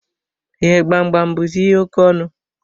Ee, Gbamgbam buzi ihe oke ọnụ